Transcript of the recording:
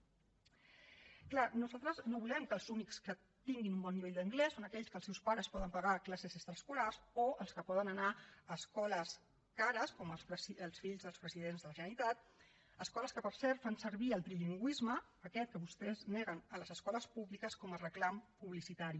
clar nosaltres no volem que els únics que tinguin un bon nivell d’anglès siguin aquells que els seus pares poden pagar classes extraescolars o els que poden anar a escoles cares com els fills dels presidents de la generalitat escoles que per cert fan servir el trilingüisme aquest que vostès neguen a les escoles públiques com a reclam publicitari